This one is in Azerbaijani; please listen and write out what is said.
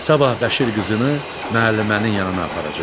Sabah Bəşir qızını müəllimənin yanına aparacaqdı.